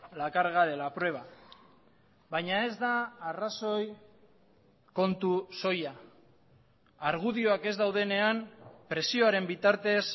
la carga de la prueba baina ez da arrazoi kontu soila argudioak ez daudenean presioaren bitartez